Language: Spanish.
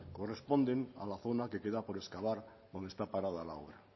corresponden a la zona que queda por excavar donde está parada la obra